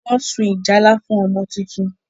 Wón so ìjálá fún ọmọ títún